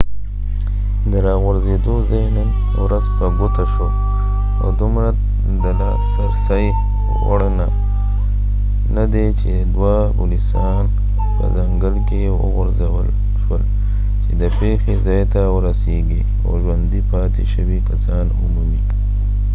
د راغورځېدو ځای نن ورځ په ګوته شو او دومره د لاسرسۍ وړ نه دی چې دوه پولیسان په ځنګل کې وغورځول شول چې د پیښې ځای ته ورسيږي او ژوندي پاتې شوي کسان ومومي